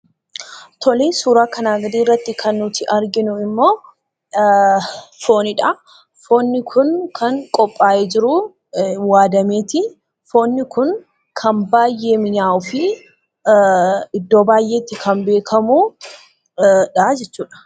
Suuraa kanaa gadii irratti kan nuti arginu immoo foonidha. Foon kun kan qophaayee waadameeti. Foon kun kan baay'ee mi'aawuu fi iddoo baay'eetti kan beekamudha jechuudha.